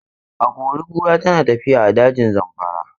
Akori-kura tana tafiya a dajin Zamfara.